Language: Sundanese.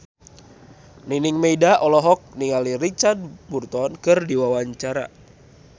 Nining Meida olohok ningali Richard Burton keur diwawancara